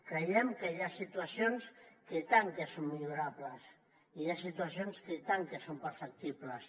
creiem que hi ha situacions que i tant que són millorables i hi ha situacions que i tant que són perfectibles